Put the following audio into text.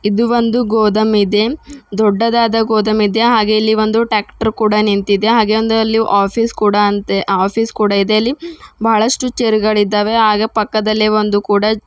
ಇದು ಒಂದು ಗೋದಮ್ ಇದೆ ದೊಡ್ಡದಾದ ಗೋದಮ್ ಇದೆ ಹಾಗೆ ಇಲ್ಲಿ ಒಂದು ಟ್ರ್ಯಾಕ್ಟರ್ ಕೂಡ ನಿಂತಿದೆ ಹಾಗೆ ಒಂದು ಅಲ್ಲಿ ಆಫೀಸ್ ಕೂಡ ಅಂತೇ ಆಫೀಸ್ ಕೂಡ ಇದೆ ಅಲ್ಲಿ ಬಹಳಷ್ಟು ಚೇರ್ ಗಳಿದಾವೆ ಹಾಗೆ ಪಕ್ಕದಲ್ಲಿ ಒಂದು ಕೂಡ --